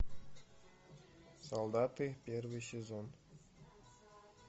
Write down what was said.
солдаты первый сезон